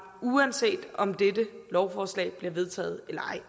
uanset om dette lovforslag bliver vedtaget eller ej